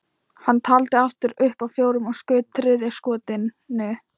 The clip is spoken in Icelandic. Hann taldi aftur upp að fjórum og skaut þriðja skotinu.